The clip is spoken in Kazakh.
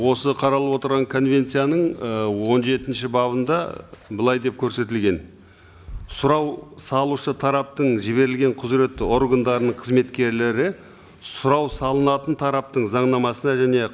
осы қаралып отырған конвенцияның ы он жетінші бабында былай деп көрсетілген сұрау салушы тараптың жіберілген құзыретті органдарының қызметкерлері сұрау салынатын тараптың заңнамасына және